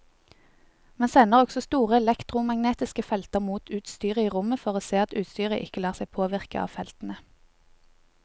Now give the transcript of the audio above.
Man sender også store elektromagnetiske felter mot utstyret i rommet for å se at utstyret ikke lar seg påvirke av feltene.